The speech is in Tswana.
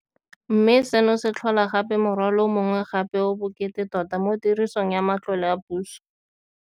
Mme seno se tlhola gape morwalo o mongwe gape o o bokete tota mo tirisong ya matlole a puso.